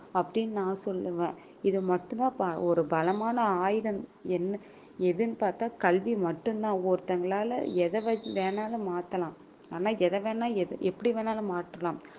அப்படின்னு நான் சொல்லுவேன் இது மட்டும்தான் ப~ ஒரு பலமான ஆயுதம் என்ன எதுன்னு பார்த்தா கல்வி மட்டும்தான் ஒருத்தங்களால எதை வ~ வேணாலும் மாத்தலாம் ஆனா எதை வேணா எப்படி வேணாலும் மாற்றலாம்